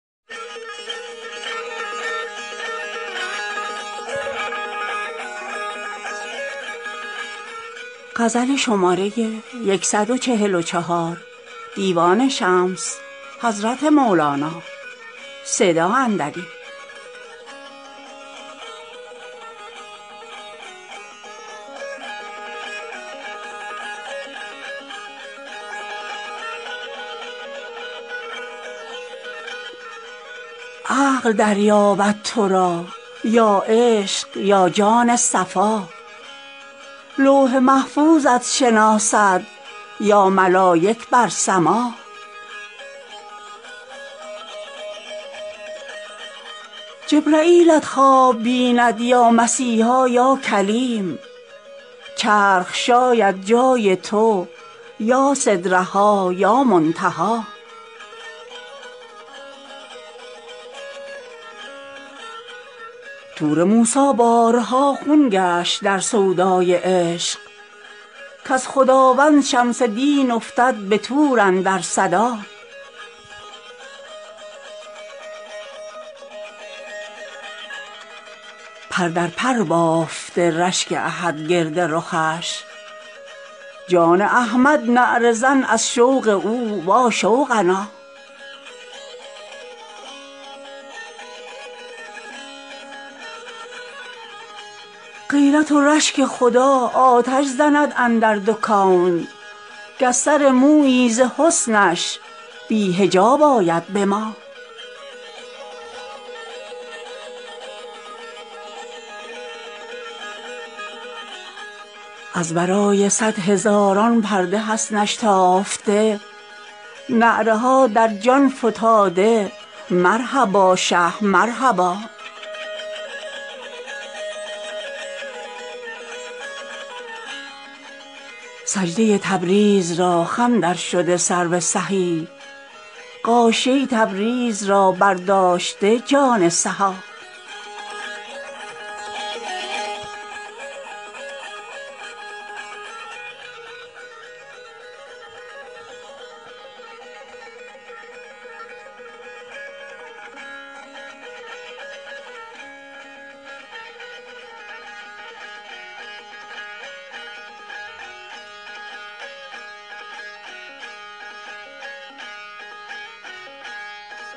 عقل دریابد تو را یا عشق یا جان صفا لوح محفوظت شناسد یا ملایک بر سما جبرییلت خواب بیند یا مسیحا یا کلیم چرخ شاید جای تو یا سدره ها یا منتها طور موسی بارها خون گشت در سودای عشق کز خداوند شمس دین افتد به طور اندر صدا پر در پر بافته رشک احد گرد رخش جان احمد نعره زن از شوق او واشوقنا غیرت و رشک خدا آتش زند اندر دو کون گر سر مویی ز حسنش بی حجاب آید به ما از ورای صد هزاران پرده حسنش تافته نعره ها در جان فتاده مرحبا شه مرحبا سجده ی تبریز را خم درشده سرو سهی غاشیه تبریز را برداشته جان سها